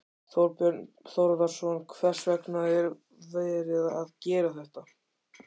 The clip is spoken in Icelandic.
Þorbjörn Þórðarson: Hvers vegna er verið að gera þetta?